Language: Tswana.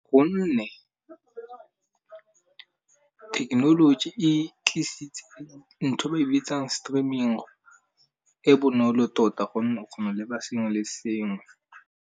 Gonne thekenoloji e tlisitse ntho ba e bitsang streaming, e bonolo tota gonne o kgona leba sengwe le sengwe.